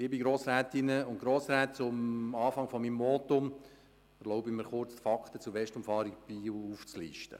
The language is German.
Liebe Grossrätinnen, liebe Grossräte, am Anfang meines Votums erlaube ich mir kurz die Fakten zur Westumfahrung Biel aufzulisten.